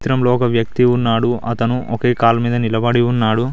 చిత్రంలో ఒక వ్యక్తి ఉన్నాడు అతను ఒకే కాలు మీద నిలబడి ఉన్నాడు.